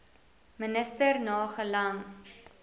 minister na gelang